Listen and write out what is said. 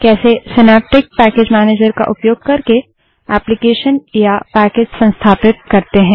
कैसे synaptic package manager का उपयोग करके एप्लीकेशन या पैकेज संस्थापित करते हैं